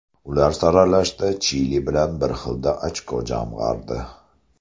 Ular saralashda Chili bilan bir xilda ochko jamg‘ardi.